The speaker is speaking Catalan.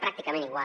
pràcticament igual